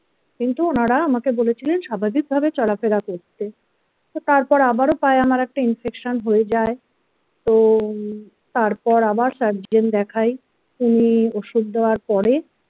কিন্তু ওনারা আমাকে বলেছিলেন স্বাভাবিকভাবে চলাফেরা করতে তো তারপর আবারও পায়ে আমার একটা infection হয়ে যায় তো তারপর আবার surgeon দেখাই উনি ওষুধ দেওয়ার পরে।